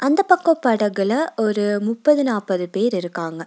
அந்த பக்கோ படகுல ஒரு முப்பது நாப்பது பேர் இருக்காங்க.